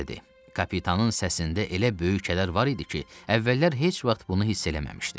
Kapitanın səsində elə böyük kədər var idi ki, əvvəllər heç vaxt bunu hiss eləməmişdi.